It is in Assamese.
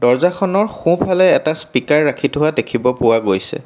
দৰ্জাখনৰ সোঁফালে এটা স্পিকাৰ ৰাখি থোৱা দেখিব পোৱা গৈছে।